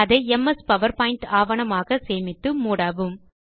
அதை MS PowerPoint ஆவணமாக சேமித்து மூடவும்